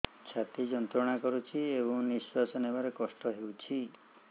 ଛାତି ଯନ୍ତ୍ରଣା କରୁଛି ଏବଂ ନିଶ୍ୱାସ ନେବାରେ କଷ୍ଟ ହେଉଛି